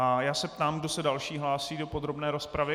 A já se ptám, kdo se další hlásí do podrobné rozpravy.